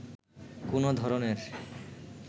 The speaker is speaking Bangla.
কোনো ধরনের